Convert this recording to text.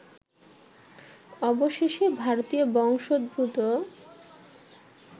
অবশেষে ভারতীয় বংশোদ্ভূত